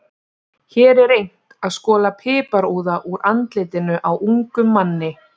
Hér er reynt að skola piparúða úr andlitinu á ungum manni.